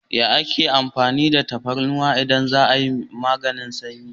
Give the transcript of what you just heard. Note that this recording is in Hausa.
Ya ake amfani da tafarnuwa idan za'a yi maganin sanyi?